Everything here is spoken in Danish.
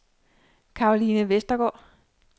Karoline Westergaard